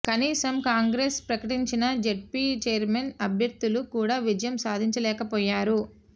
కనీసం కాంగ్రెస్ ప్రకటించిన ZP chairman అభ్యర్ధులు కూడా విజయం సాధించలేకపోయారు